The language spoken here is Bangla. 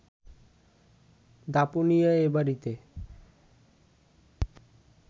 দাপুনিয়ার এ বাড়িতে